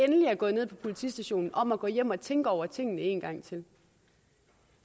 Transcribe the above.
endelig er gået ned på politistationen om at gå hjem og tænke over tingene en gang til